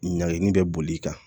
Ɲagini bɛ boli i kan